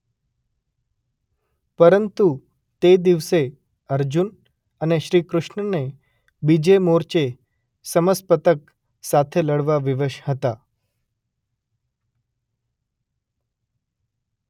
પરતું તે દિવસે અર્જુન અને શ્રીકૃષ્ણને બીજે મોરચે સમસપ્તક સાથે લડવા વિવશ હતા.